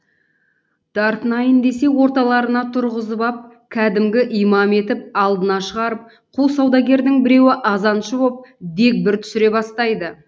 тартынайын десе орталарына тұрғызып ап кәдімгі имам етіп алдына шығарып қу саудагердің біреуі азаншы боп дегбір түсіре бастайды